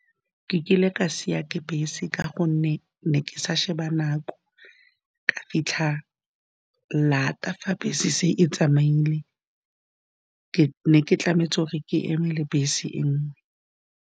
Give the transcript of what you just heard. Ke kile ka siwa ke bese ka gonne ke ne ke sa sheba nako. Ka fitlha laat fa bese se e tsamaile. Ke ne ke tlameile gore ke emele bese e nngwe.